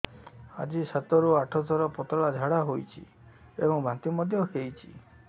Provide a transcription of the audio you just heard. ଆଜି ସାତରୁ ଆଠ ଥର ପତଳା ଝାଡ଼ା ହୋଇଛି ଏବଂ ବାନ୍ତି ମଧ୍ୟ ହେଇଛି